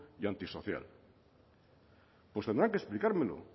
y antisocial pues tendrán que explicármelo